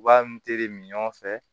U b'a n teri min fɛ